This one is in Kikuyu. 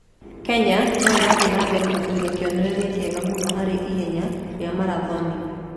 Kenya no ĩrathiĩ na mbere kũiga kĩonereria kĩega mũno harĩ ihenya rĩa marathoni.